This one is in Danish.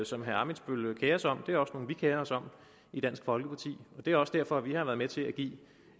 som herre ammitzbøll kerer sig om er også nogle vi kerer os om i dansk folkeparti det er også derfor at vi har været med til at give